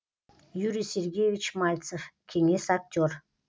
юрий сергеевич мальцев кеңес актер